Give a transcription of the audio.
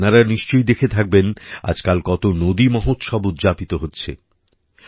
আপনারা নিশ্চয়ই দেখে থাকবেন আজকাল কত নদীমহোৎসব উদযাপিত হচ্ছে